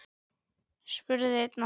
spurði einn okkar.